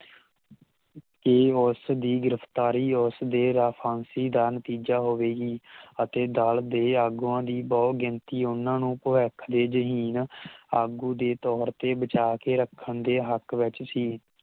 ਇਹ ਉਸ ਦੀ ਗਿਰਫਤਾਰੀ ਉਸ ਦੇ ਰਾਫਾਂਸੀ ਦਾ ਨਤੀਜਾ ਹੋਵੇਗੀ ਅਤੇ ਦਲ ਦੇ ਆਗੂਆਂ ਦੀ ਬਹੁਤ ਗਿਣਤੀ ਉਹਨਾਂ ਨੂੰ ਭਵਿੱਖ ਦੇ ਜ਼ਹੀਨ ਆਗੂ ਦੇ ਤੌਰ ਤੇ ਬਚਾਅ ਕੇ ਰੱਖਣ ਦੇ ਹਕ਼ ਵਿਚ ਸੀ